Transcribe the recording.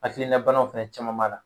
Hakilina banaw fɛnɛ caman b'a la.